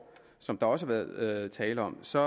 som der også har været talt om så